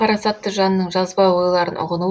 парасатты жанның жазба ойларын ұғыну